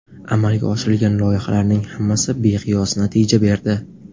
Amalga oshirilgan loyihalarning hammasi beqiyos natija berdi.